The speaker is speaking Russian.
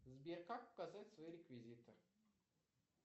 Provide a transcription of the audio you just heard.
сбер как указать свои реквизиты